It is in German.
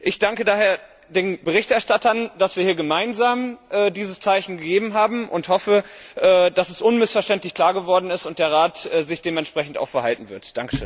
Ich danke daher den Berichterstattern, dass wir hier gemeinsam dieses Zeichen gegeben haben, und hoffe, dass es unmissverständlich klar geworden ist und dass der Rat sich auch dementsprechend verhalten wird.